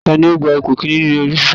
Ta ló gba ipò kìíní nínú eré sisa?